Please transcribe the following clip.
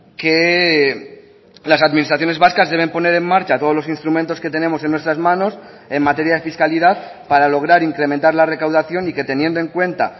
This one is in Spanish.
que las administraciones vascas deben poner en marcha todos los instrumentos que tenemos en nuestras manos en materia de fiscalidad para lograr incrementar la recaudación y que teniendo en cuenta